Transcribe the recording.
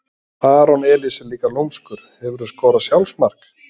aron elís er líka lúmskur Hefurðu skorað sjálfsmark?